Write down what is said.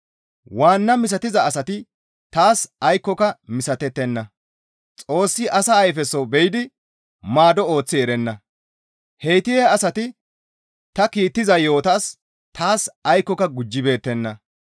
Waanna misatiza asati taas aykkoka misatettenna; Xoossi asa ayfeso be7idi maado ooththi erenna; heyti he asati ta kiittiza yo7otas taas aykkoka gujjibeettenna.